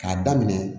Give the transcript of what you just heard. K'a daminɛ